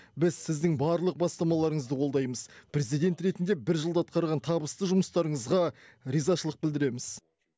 біз сіздің барлық бастамаларыңызды қолдаймыз президент ретінде бір жылда атқарған табысты жұмыстарыңызға ризашылық білдіреміз